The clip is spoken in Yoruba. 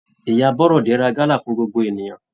Ìyá Bọ́rọ́de ra gala fún gbogbo ènìyàn.